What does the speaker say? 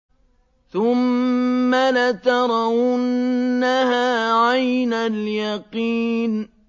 ثُمَّ لَتَرَوُنَّهَا عَيْنَ الْيَقِينِ